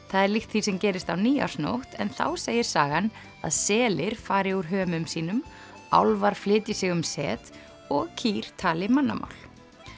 það er líkt því sem gerist á nýársnótt en þá segir sagan að selir fari úr hömum sínum álfar flytji sig um set og kýr tali mannamál